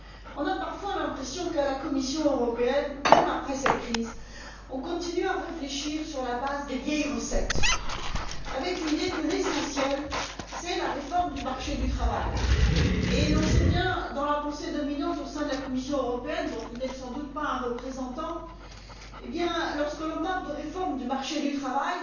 On a parfois l'impression qu'à la Commission européenne, même après cette crise, on continue à réfléchir sur la base des vieilles recettes avec l'idée que l'essentiel, c'est la réforme du marché du travail. On sait bien, dans la pensée dominante au sein de la Commission européenne dont vous n'êtes sans doute pas un représentant, que lorsqu'on parle de réformes du marché du travail,